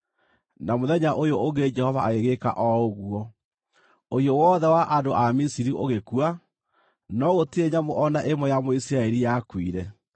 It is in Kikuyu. Na mũthenya ũyũ ũngĩ Jehova agĩgĩka o ũguo: Ũhiũ wothe wa andũ a Misiri ũgĩkua, no gũtirĩ nyamũ o na ĩmwe ya Mũisiraeli yakuire.